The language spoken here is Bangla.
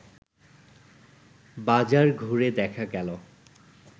বাজার ঘুরে দেখা গেল